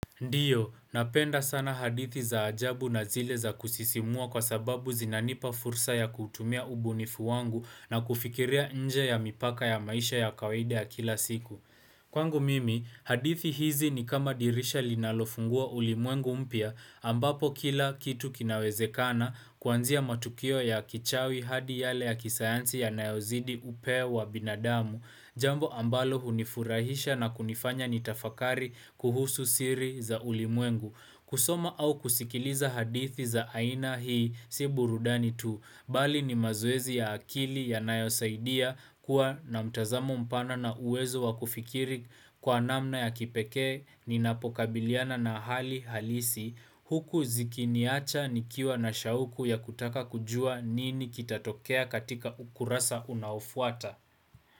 Ndiyo, napenda sana hadithi za ajabu na zile za kusisimua kwa sababu zinanipa fursa ya kutumia ubunifu wangu na kufikiria nje ya mipaka ya maisha ya kawaida ya kila siku. Kwangu mimi, hadithi hizi ni kama dirisha linalofungua ulimwengu mpya, ambapo kila kitu kinawezekana kuanzia matukio ya kichawi hadi yale ya kisayansi yanayozidi upeo wa binadamu, jambo ambalo hunifurahisha na kunifanya nitafakari kuhusu siri za ulimwengu. Kusoma au kusikiliza hadithi za aina hii, si burudani tu, bali ni mazoezi ya akili yanayosaidia kuwa na mtazamo mpana na uwezo wa kufikiri kwa namna ya kipeke, ni napokabiliana na hali halisi, huku zikiniacha nikiwa na shauku ya kutaka kujua nini kitatokea katika ukurasa unaofuata.